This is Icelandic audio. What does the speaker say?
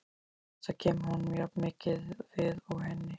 Þetta kemur honum jafnmikið við og henni.